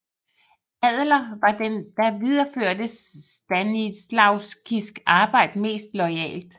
Adler var den der videreførte Stanislavskis arbejde mest loyalt